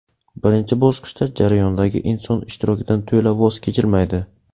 Birinchi bosqichda jarayondagi inson ishtirokidan to‘la voz kechilmaydi.